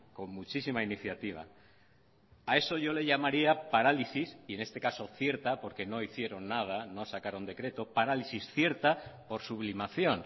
con muchísima iniciativa a eso yo le llamaría parálisis y en este caso cierta porque no hicieron nada no sacaron decreto parálisis cierta por sublimación